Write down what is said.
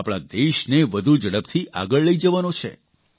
આપણા દેશને વધુ ઝડપથી આગળ લઇ જવાનો છે